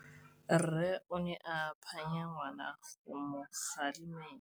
Rre o ne a phanya ngwana go mo galemela.